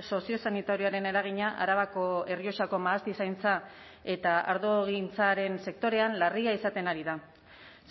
soziosanitarioaren eragina arabako errioxako mahastizaintza eta ardogintzaren sektorean larria izaten ari da